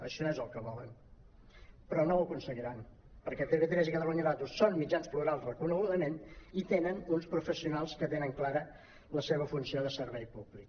això és el que volen però no ho aconseguiran perquè tv3 i catalunya ràdio són mitjans plurals reconegudament i tenen uns professionals que tenen clara la seva funció de servei públic